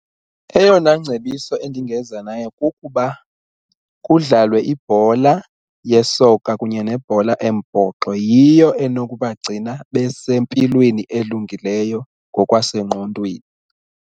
Eyona ngcebiso endingeza nayo kukuba kudlalwe ibhola yesoka kunye nebhola embhoxo yiyo enokubagcina besempilweni elungileyo ngokwasengqondweni.